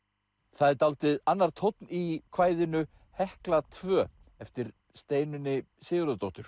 það er dálítið annar tónn í kvæðinu Hekla tvö eftir Steinunni Sigurðardóttur